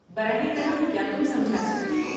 براہ کرم کیا تم سمجھا سکتی ہو؟